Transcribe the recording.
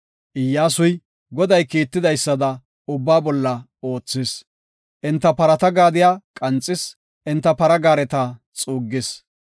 Iyyasuy, Goday kiitidaysada ubbaa bolla oothis; enta parata gaadiya qanxis; enta gaareta xuuggis.